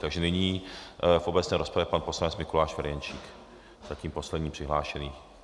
Takže nyní v obecné rozpravě pan poslanec Mikuláš Ferjenčík, zatím poslední přihlášený.